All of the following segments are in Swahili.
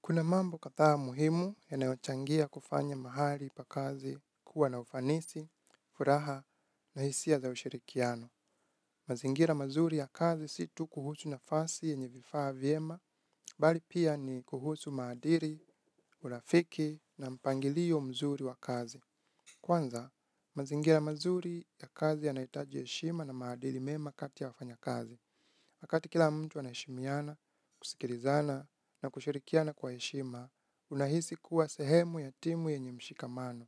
Kuna mambo kadhaa muhimu yanayochangia kufanya mahali pa kazi kuwa na ufanisi, furaha na hisia za ushirikiano. Mazingira mazuri ya kazi si tu kuhusu nafasi yenye vifaa vyema, bali pia ni kuhusu maadili, urafiki na mpangilio mzuri wa kazi. Kwanza, mazingira mazuri ya kazi yanahitaji heshima na maadili mema kati ya wafanyakazi. Wakati kila mtu anaheshimiana, kusikilizana na kushirikiana kwa heshima, unahisi kuwa sehemu ya timu yenye mshikamano.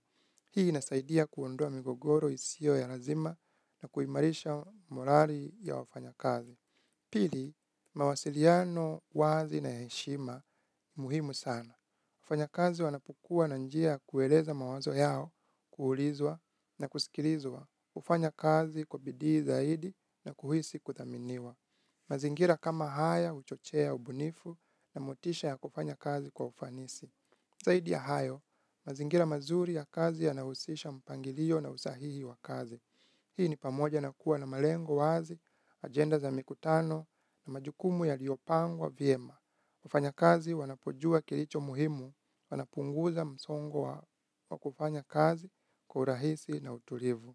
Hii inasaidia kuondoa migogoro isio ya lazima na kuimarisha morali ya wafanyakazi. Pili, mawasiliano wazi na ya heshima ni muhimu sana. Wafanyakazi wanapokua na njia ya kueleza mawazo yao, kuulizwa na kusikilizwa. Hufanya kazi kwa bidii zaidi na kuhisi kuthaminiwa. Mazingira kama haya huchochea ubunifu na motisha ya kufanya kazi kwa ufanisi. Zaidi ya hayo, mazingira mazuri ya kazi yanahusisha mpangilio na usahihi wa kazi. Hii ni pamoja na kuwa na malengo wazi, ajenda za mikutano na majukumu yaliyopangwa vyema. Wafanyakazi wanapojua kilicho muhimu wanapunguza msongo wa wa kufanya kazi kwa urahisi na utulivu.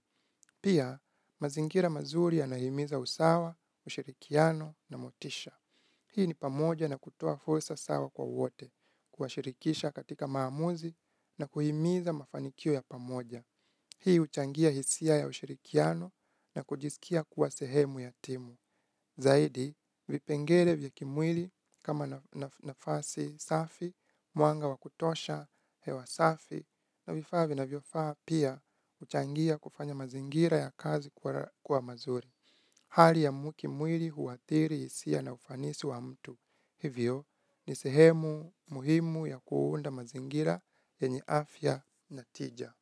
Pia, mazingira mazuri yanahimiza usawa, ushirikiano na motisha. Hii ni pamoja na kutoa fursa sawa kwa wote, kuwa shirikisha katika maamuzi na kuhimiza mafanikio ya pamoja. Hii huchangia hisia ya ushirikiano na kujisikia kuwa sehemu ya timu, zaidi vipengele vya kimwili kama nafasi safi, mwanga wa kutosha hewa safi na vifaa vinavyofaa pia huchangia kufanya mazingira ya kazi kuwa mazuri. Hali ya muki mwili huathiri hisia na ufanisi wa mtu, hivyo ni sehemu muhimu ya kuunda mazingira yenye afya na tija.